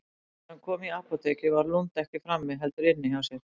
Þegar hann kom í apótekið var Lund ekki frammi, heldur inni hjá sér.